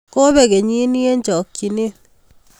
Kobeek kenyini eng chokchinet